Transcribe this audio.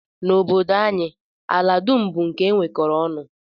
N'obodo anyị, ala dum bụ nke e nwekọrọ ọnụ